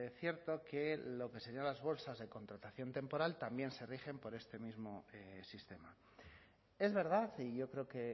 cierto que lo que serían las bolsas de contratación temporal también se rigen por este mismo sistema es verdad y yo creo que